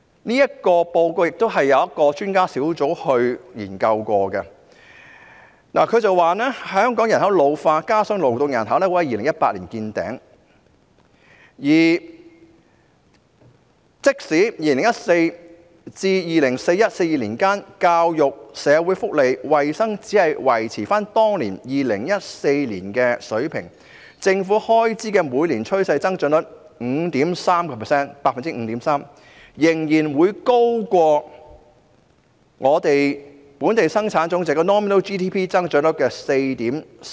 這份報告由一個專家小組研究編寫，指出香港人口老化，加上勞動人口會在2018年見頂，即使在2014年至 2041-2042 年度間，教育、社會福利、衞生只是維持在2014年的水平，政府開支每年的趨勢增長率 5.3% 仍然高於本地生產總值增長率 4.4%。